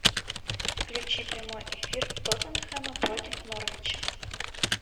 включи прямой эфир тоттенхэма против норвича